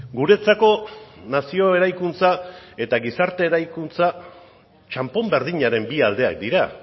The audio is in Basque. guretzako nazio eraikuntza eta gizarte eraikuntza txanpon berdinaren bi aldeak dira